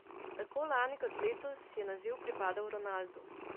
Tako lani kot letos je naziv pripadel Ronaldu.